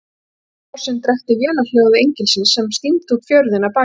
Niður fossins drekkti vélarhljóði engilsins sem stímdi út fjörðinn að baki þeim.